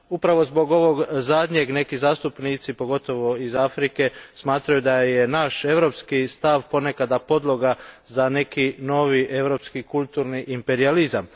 Upravo zbog ovog zadnjeg neki zastupnici, pogotovo iz Afrike, smatraju da je naš europski stav ponekad podloga za neki novi europski kulturni imperijalizam.